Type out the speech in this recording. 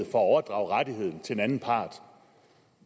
at overdrage rettigheden til en anden part